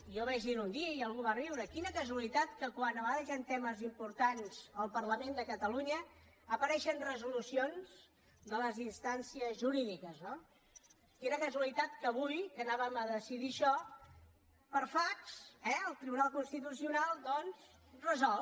jo vaig dir ho un dia i algú va riure quina casualitat que quan a vegades hi han temes importants al parlament de catalunya apareixen resolucions de les instàncies jurídiques no quina casualitat que avui que anàvem a decidir això per fax eh el tribunal constitucional doncs resol